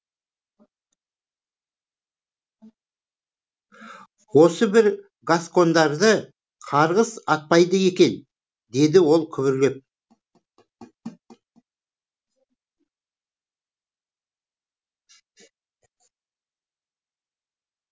осы бір гаскондарды қарғыс атпайды екен деді ол күбірлеп